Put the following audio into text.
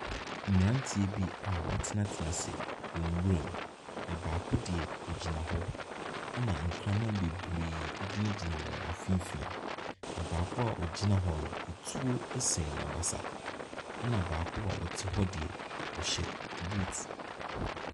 Mmeranteɛ bi a watenatena ase wɔ nwiram. Na baako deɛ ɔgyina hɔ, ɛna nkraman bebree gyinagyina wɔn mfimfini. Na baako a ɔgyina hɔ no. etuo sɛn n'abasa. Ɛna baako a ɔte hɔ deɛ, ɔhyɛ boot.